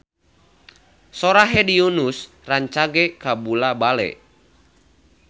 Sora Hedi Yunus rancage kabula-bale